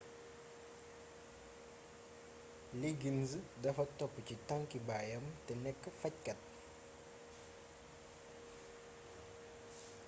liggins dafa topp ci tànkki baayam te nekk fajkat